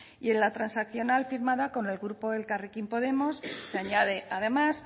y en la transaccional firmada con el grupo elkarrekin podemos se añade además